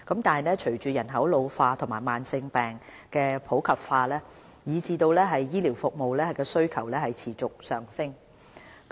然而，隨着人口老化及慢性病普及化，醫療服務需求持續上升。